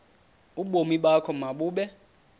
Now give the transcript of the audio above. ubomi bakho mabube